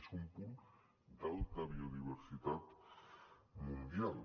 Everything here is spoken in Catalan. és un punt d’alta biodiversitat mundial